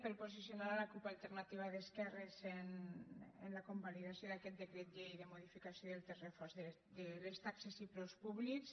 per posicionar la cup alternativa d’esquerres en la convalidació d’aquest decret llei de modificació del text refós de les taxes i preus públics